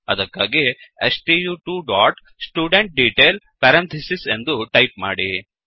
ಅದಕ್ಕಾಗಿ stu2studentDetail ಎಂದು type ಮಾಡಿ